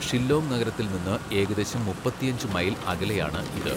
ഷില്ലോങ് നഗരത്തിൽ നിന്ന് ഏകദേശം മുപ്പത്തിയഞ്ച് മൈൽ അകലെയാണ് ഇത്.